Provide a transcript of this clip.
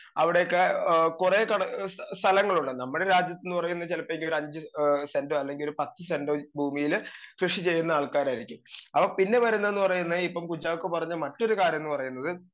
speaker 2 അവിടെയൊക്കെ ഏ കൊറേ കട സല സ്ഥലങ്ങളുണ്ട് നമ്മുടെ രാജ്യത്ത്ന്ന് പറയുന്ന ചെലപ്പോ ഒരു അഞ്ച് ഏ സെന്റോ അല്ലെങ്കി ഒരു പത്ത് സെന്റോ ഭൂമീല് കൃഷി ചെയ്യുന്ന ആൾക്കാരായിരിക്കും അപ്പൊ പിന്നെ വരുന്നെന്ന് പറഞ്ഞയന ഇപ്പം കുഞ്ചാക്കോ പറഞ്ഞ മറ്റൊരു കാര്യം ന്ന് പറയുന്നത്